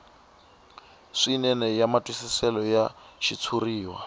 swinene ya matwisiselo ya xitshuriwa